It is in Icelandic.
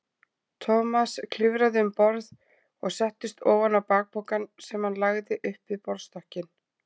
Thomas klifraði um borð og settist ofan á bakpokann sem hann lagði upp við borðstokkinn.